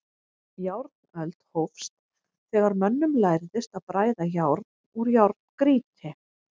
Járnöld hófst þegar mönnum lærðist að bræða járn úr járngrýti.